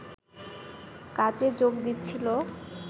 কাজে যোগ দিচ্ছিলো